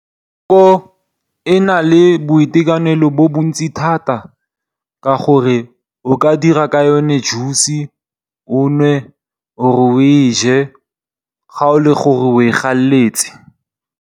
Maungo a na le boitekanelo bo bontsi thata ka gore o ka dira ka yone juice, o e nwe ga o le gore o e galletse.